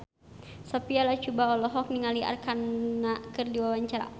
Sophia Latjuba olohok ningali Arkarna keur diwawancara